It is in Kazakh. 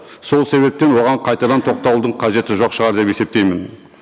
сол себептен оған қайтадан тоқтаудың қажеті жоқ шығар деп есептеймін